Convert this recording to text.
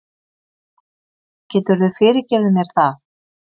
Geturðu fyrirgefið mér það?